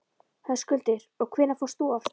Höskuldur: Og hvenær fórst þú af stað?